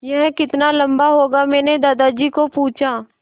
यह कितना लम्बा होगा मैने दादाजी को पूछा